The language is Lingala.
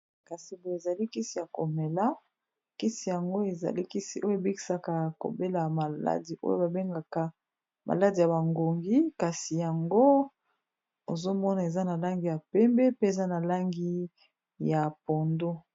Kasi boye ezali kisi ya komela kisi yango ezalikisi oyo ebikisaka kobela maladi oyo ba bengaka maladi ya bangongi kasi yango ozomona eza na langi ya pembe, pe eza na langi ya pondo.